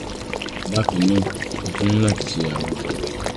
bákan náà o tún ní láti ṣe àwọn àyẹ̀wò ìtọ̀